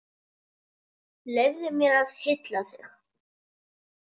Leyfðu mér að hylla þig.